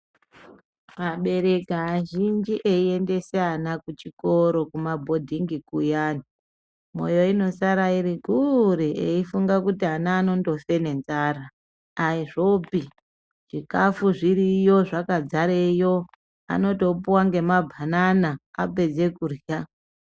Abereki azhinji eiendese ana kuchikoro kuma bhodhingi kuyani, mwoyo inosara iri kure eifunge kuti ana anondofe ngenzara. Aizvopi zvikafu zviriyo zvakadzareyo anotopuwe nema bhanana apedze kurya .